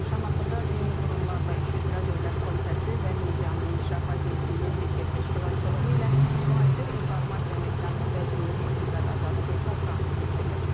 Şamaxıda Dini Qurumlarla İş üzrə Dövlət Komitəsi və Medianın İnkişafı Agentliyinin birgə təşkilatçılığı ilə müasir informasiya məkanı və dini etiqad azadlığı konfransı keçirilib.